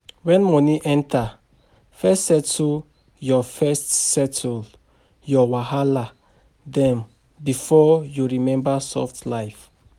When money enter, first settle your first settle your wahala dem before you remember soft life.